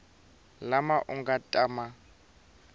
lama u nga ta ma